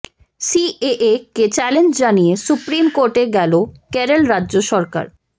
CAA কে challenge জানিয়ে supreme কোর্টে গেল কেরল রাজ্য সরকার